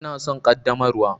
Ina son ƙaddamarwa.